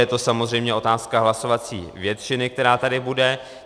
Je to samozřejmě otázka hlasovací většiny, která tady bude.